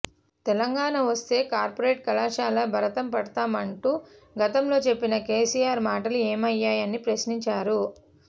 తెలంగాణ వస్తే కార్పొరేట్ కళాశాలల భరతం పడతామం టూ గతంలో చెప్పిన కేసీఆర్ మాటలు ఏమయ్యా యని ప్రశ్నించారు